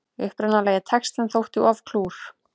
Upprunalegi textinn þótti of klúr